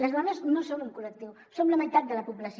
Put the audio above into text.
les dones no som un col·lectiu som la meitat de la població